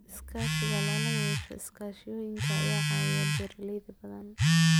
Iskaashiga lala yeesho iskaashatooyinka ayaa caawiya beeralay badan.